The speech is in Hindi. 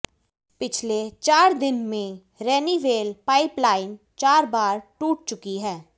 पिछले चार दिन में रेनीवेल पाइप लाइन चार बार टूट चुकी है